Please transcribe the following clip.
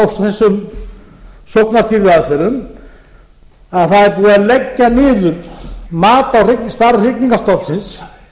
þessum sóknarstýrðu aðferðum að það er búið að leggja niður mat á stærð hrygningarstofnsins